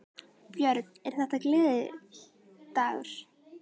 Björn: Er þetta gleðidagur?